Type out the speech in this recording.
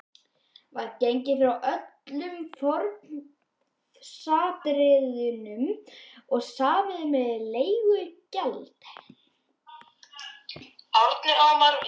Var gengið frá öllum formsatriðum og samið um leigugjald.